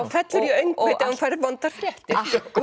fellur í öngvit ef hún fær vondar fréttir